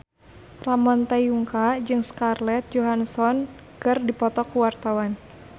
Ramon T. Yungka jeung Scarlett Johansson keur dipoto ku wartawan